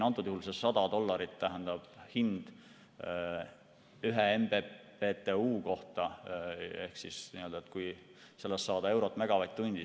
Antud juhul see 100 dollarit tähendab hinda ühe MMBtu kohta.